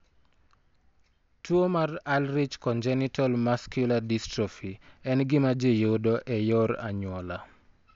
Tuwo mar Ullrich congenital muscular dystrophy en gima ji yudo e yor anyuola.